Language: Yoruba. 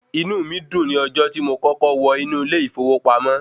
Inú mi dùn ní ọjọ́ tí mo kọ́kọ́ wọ inú ilé ìfowópamọ́.